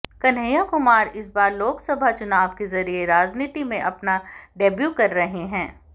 कन्हैया कुमार इस बार लोकसभा चुनाव के जरिए राजनीति में अपना डेब्यू कर रहे हैं